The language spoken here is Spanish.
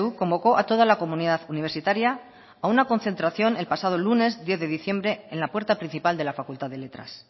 convocó a toda la comunidad universitaria a una concentración el pasado lunes diez de diciembre en la puerta principal de la facultad de letras